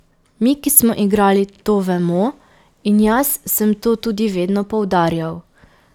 Mi, ki smo igrali, to vemo, in jaz sem to tudi vedno poudarjal.